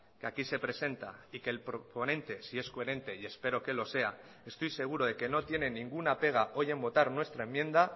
que aquí se presenta y que el proponente si es coherente y espero que lo sea estoy seguro de que no tiene ninguna pega hoy en votar nuestra enmienda